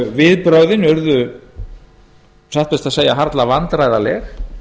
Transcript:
viðbrögðin urðu satt best að segja vandræðaleg